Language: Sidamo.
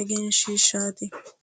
egenshiishshaati